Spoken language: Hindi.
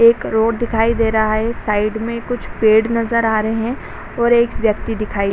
एक रोड दिखाई दे रहा है | साइड में कुछ पेड़ नज़र आ रहे हैं और एक व्यक्ति दिखाई --